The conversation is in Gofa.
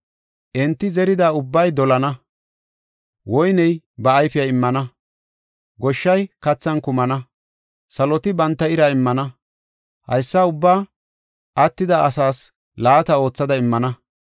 “Entii zerida ubbay dolana; woyney ba ayfiya immana; goshshay kathan kumana; saloti banta ira immana. Haysa ubba attida asaas laata oothada immana.